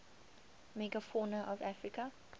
megafauna of africa